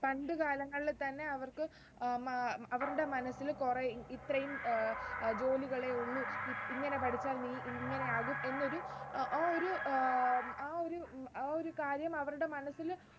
പണ്ട് കാലങ്ങളിൽ തന്നെ അവർക്കു ആഹ് അവരുടെ മനസ്സിൽ കുറെ ഇത്രയും അഹ് ജോലികളെ ഉള്ളൂ ഇങ്ങനെ പഠിച്ചാൽ നീ ഇങ്ങനെയാവും എന്നൊരു ആ ഒരു ആഹ് ആ ഒരു കാര്യം അവരുടെ മനസ്സില്